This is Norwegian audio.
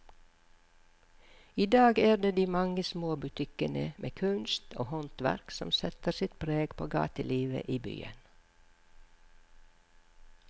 I dag er det de mange små butikkene med kunst og håndverk som setter sitt preg på gatelivet i byen.